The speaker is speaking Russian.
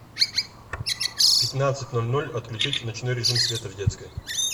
в пятнадцать ноль ноль отключить ночной режим света в детской